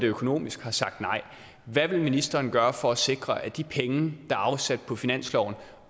økonomisk har sagt nej hvad vil ministeren gøre for at sikre at de penge der er afsat på finansloven